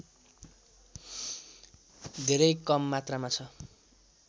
धेरै कममात्रामा छ